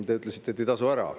Te ütlesite, et need ei tasu ära.